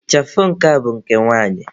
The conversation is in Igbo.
Ịchafụ nke a bụ nke nwanyị.